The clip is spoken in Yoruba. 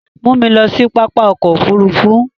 Mú mi lọ sí pápá ọkọ̀ òfurufú!